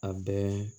A bɛɛ